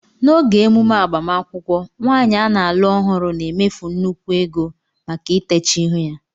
N'oge emume agbamakwụkwọ, nwaanyị a na-alụ ọhụrụ na-emefu nnukwu ego maka itecha ihu ya